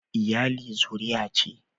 iyali zuruya ce